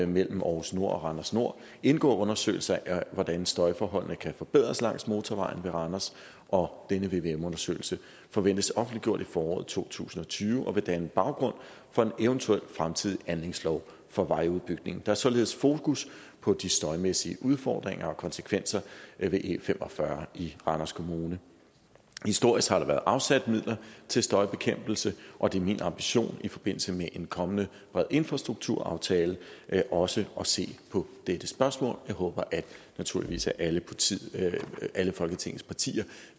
mellem aarhus nord og randers nord indgår undersøgelser af hvordan støjforholdene kan forbedres langs motorvejen ved randers og denne vvm undersøgelse forventes offentliggjort i foråret to tusind og tyve og vil danne baggrund for en eventuel fremtidig anlægslov for vejudbygning der er således fokus på de støjmæssige udfordringer og konsekvenser ved e45 i randers kommune historisk har der været afsat midler til støjbekæmpelse og det er min ambition i forbindelse med en kommende infrastrukturaftale også at se på dette spørgsmål jeg håber naturligvis at alle alle folketinget partier